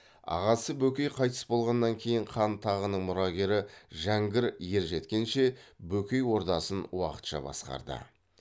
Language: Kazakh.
ағасы бөкей қайтыс болғаннан кейін хан тағының мұрагері жәңгір ержеткенше бөкей ордасын уақытша басқарды